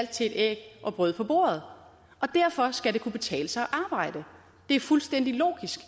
til et æg og brød på bordet og derfor skal det kunne betale sig at arbejde det er fuldstændig logisk